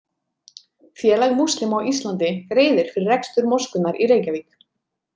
Félag múslima á Íslandi greiðir fyrir rekstur moskunnar í Reykjavík.